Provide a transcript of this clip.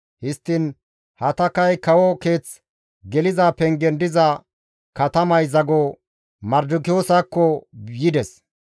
Histtiin Hatakay kawo keeth geliza pengen diza katamay zago Mardikiyoosakko yides.